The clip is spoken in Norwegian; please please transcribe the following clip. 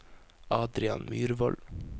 Adrian Myrvold